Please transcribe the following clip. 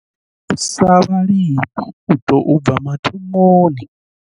Ri thusa vhalimi u tou bva mathomoni.